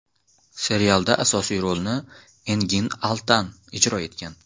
Serialda asosiy rolni Engin Altan ijro etgan.